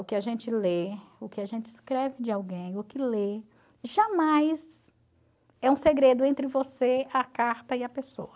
O que a gente lê, o que a gente escreve de alguém, o que lê, jamais é um segredo entre você, a carta e a pessoa.